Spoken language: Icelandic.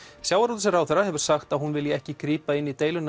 sjávarútvegsráðherra hefur sagt að hún vilji ekki grípa inn í deiluna